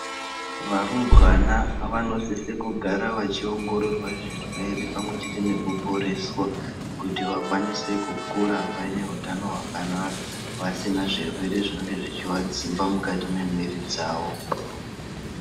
Varumbwana vanosisa kugara vachiongororwa zvirwere pamwe chete nekuporeswa kuti vakwanise kukura vane utano hwakanaka vasina zvirwere zvinonga zvechivadzimba mukati mwemuiri dzavo.